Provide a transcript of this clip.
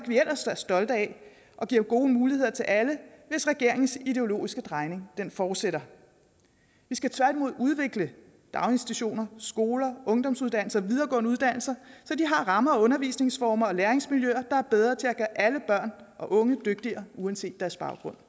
vi ellers er stolte af giver gode muligheder til alle hvis regeringens ideologiske drejning fortsætter vi skal tværtimod udvikle daginstitutioner skoler ungdomsuddannelser og videregående uddannelser så de har rammer undervisningsformer og læringsmiljøer der er bedre til at gøre alle børn og unge dygtigere uanset deres baggrund